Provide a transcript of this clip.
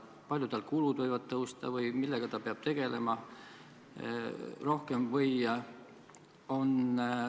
Palju tal kulud võivad kasvada või millega ta peab rohkem tegelema?